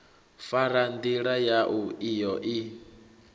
fara ndila yau iyo i